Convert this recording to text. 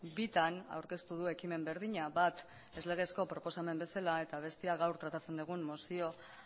bitan aurkeztu du ekimen berdina bat ez legezko proposamen bezala eta bestea gaur tratatzen dugun mozio